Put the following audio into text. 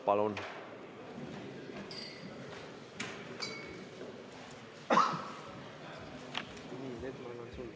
Palun!